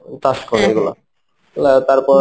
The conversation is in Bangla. চাষ করে এইগুলা. লাগায় তারপর